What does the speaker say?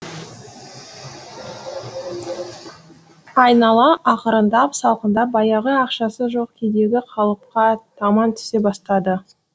айнала ақырындап салқындап баяғы ақшасы жоқ күйдегі қалыпқа таман түсе бастады